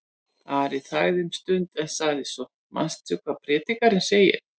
Ari þagði um stund en sagði svo: Manstu hvað Predikarinn segir?